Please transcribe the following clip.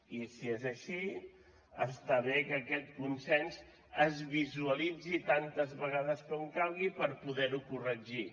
i si és així està bé que aquests consens es visualitzi tantes vegades com calgui per poder ho corregir